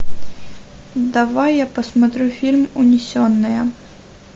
давай я посмотрю фильм унесенные